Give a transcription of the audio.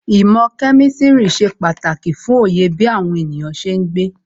Īmò kemistri ṣe pàtàkì fún Oyè bí àwọn ènìyàn ṣe ń gbé.